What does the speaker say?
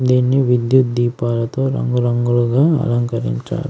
దీన్ని విద్యుత్ దీపాలతో రంగురంగులుగా అలంకరించారు.